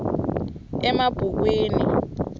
emabhukwini